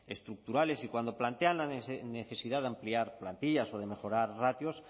estructurales y cuando plantean la necesidad de ampliar plantillas o de mejorar ratios